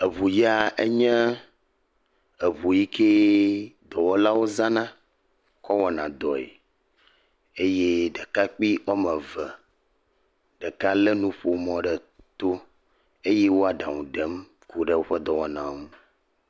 Eŋu ya enye eŋu yike dɔwɔlawo zana kɔ wɔna dɔe eye ɖekakpui woame eve, ɖeka lé nuƒomɔ ɖe to eye wole aɖaŋu dem ku ɖe woƒe dɔwɔna ŋu.